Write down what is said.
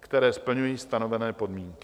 které splňují stanovené podmínky.